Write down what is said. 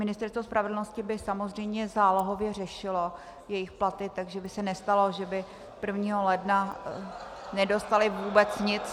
Ministerstvo spravedlnosti by samozřejmě zálohově řešilo jejich platy, takže by se nestalo, že by 1. ledna nedostali vůbec nic.